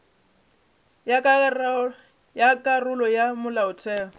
ya ka karolo ya molaotheo